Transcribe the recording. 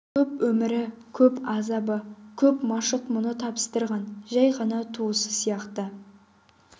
көп өмірі көп азабы көп машық мұңы табыстырған жай ғана туысы сияқты